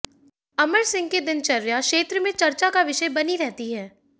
अमर सिंह की दिनचर्या क्षेत्र में चर्चा का विषय बनी रहती है